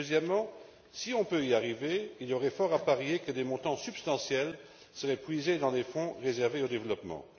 Deuxièmement, si on peut y arriver, il y aurait fort à parier que des montants substantiels seraient prélevés dans les fonds réservés au développement.